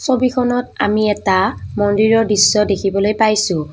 ছবিখনত আমি এটা মন্দিৰৰ দৃশ্য দেখিবলৈ পাইছোঁ।